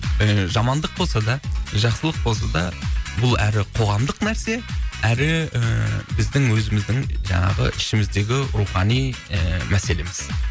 ііі жамандық болса да жақсылық болса да бұл әрі қоғамдық нәрсе әрі ііі біздің өіміздің жаңағы ішіміздегі рухани і мәселеміз